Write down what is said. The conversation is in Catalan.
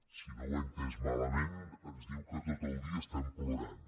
si no ho he entès malament ens diu que tot el dia plorem